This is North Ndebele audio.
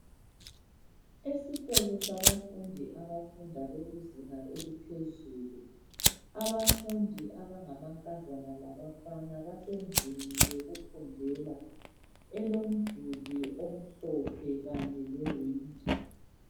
Esikolo sabafundi abafunda bekuzinga eliphezulu. Abafundi abangamankazana labafana, basendlini yokufundela. Elomduli omhlophe kanye lewindi.